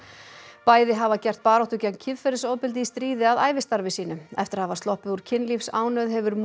bæði hafa gert baráttu gegn kynferðisofbeldi í stríði að ævistarfi sínu eftir að hafa sloppið úr kynlífsánauð hefur